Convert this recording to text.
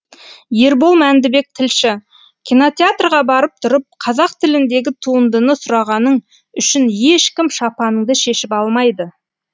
ербол мәндібек тілші кинотеатрға барып тұрып қазақ тіліндегі туындыны сұрағаның үшін ешкім шапаныңды шешіп алмайды